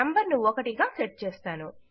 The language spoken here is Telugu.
నేను నంబర్ ను 1 గా సెట్ చేసాను